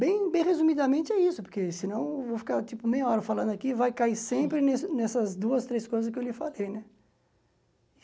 Bem bem resumidamente é isso, porque senão eu vou ficar tipo meia hora falando aqui e vai cair sempre nesse nessas duas, três coisas que eu lhe falei, né?